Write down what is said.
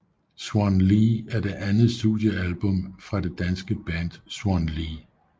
Swan Lee er det andet studiealbum fra det danske band Swan Lee